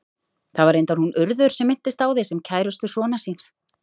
Það var reyndar hún Urður sem minntist á þig, sem kærustu sonar síns.